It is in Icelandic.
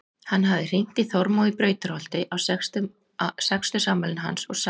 Hann hafði hringt í Þormóð í Brautarholti á sextugsafmælinu hans og sagði